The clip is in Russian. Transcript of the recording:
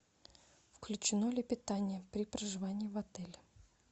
включено ли питание при проживании в отеле